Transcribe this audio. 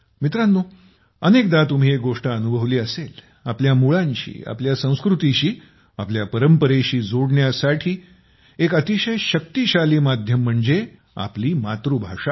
मित्रांनो अनेकदा तुम्ही एक गोष्ट अनुभवली असेल आपल्या मुळांशी आपल्या संस्कृतीशी आपल्या परंपरेशी जोडण्यासाठी एक अतिशय शक्तिशाली माध्यम म्हणजे आपली मातृभाषा